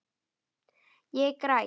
Ég græt.